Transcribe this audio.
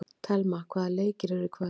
Thelma, hvaða leikir eru í kvöld?